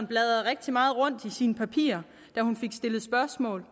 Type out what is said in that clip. bladrede rigtig meget rundt i sine papirer da hun fik stillet spørgsmål